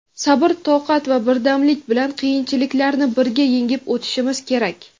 Sabr toqat va birdamlik bilan qiyinchiliklarni birga yengib o‘tishimiz kerak.